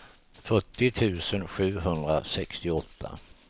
fyrtio tusen sjuhundrasextioåtta